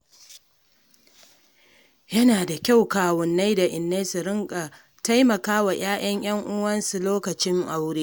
Yana da kyau kawunnai da innai su riƙa taimakawa 'ya'yan 'yan uwansu a lokacin aure.